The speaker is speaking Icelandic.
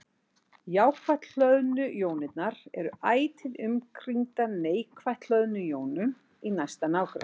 Jákvætt hlöðnu jónirnar eru ætíð umkringdar neikvætt hlöðnum jónum í næsta nágrenni.